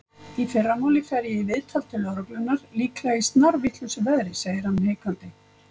Í fyrramálið fer ég í viðtal til lögreglunnar- líklega í snarvitlausu veðri, segir hann hikandi.